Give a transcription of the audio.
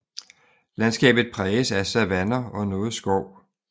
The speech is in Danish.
Landskabet præges af savanner og noget skov